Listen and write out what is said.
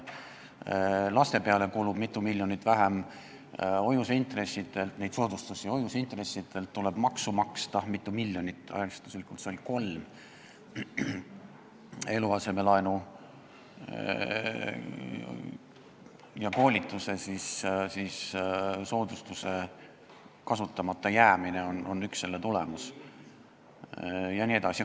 Laste pealt soodustuste maksmiseks kulub mitu miljonit vähem, hoiuseintressidelt tuleb maksta mitu miljonit maksu, arvestuslikult 3 miljonit, eluasemelaenu ja koolituse soodustuse kasutamata jäämine on üks selle tulemusi jne.